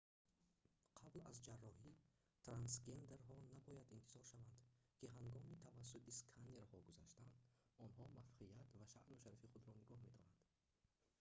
қабл аз ҷарроҳӣ трансгендерҳо набояд интизор шаванд ки ҳангоми тавассути сканнерҳо гузаштан онҳо махфият ва шаъну шарафи худро нигоҳ медоранд